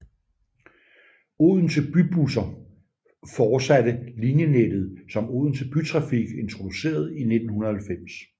Odense Bybusser fortsatte linjenettet som Odense Bytrafik introducerede i 1990